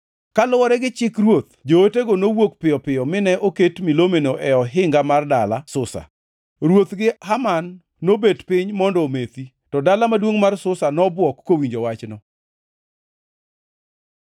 Kaluwore gi chik ruoth, jootego nowuok piyo piyo mine oket milomeno e ohinga mar dala Susa. Ruoth gi Haman nobet piny mondo omethi, to dala maduongʼ mar Susa nobwok kowinjo wachno.